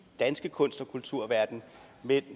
danske kunst og kulturverden